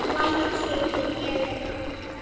Lagið heitir Ég er nóg.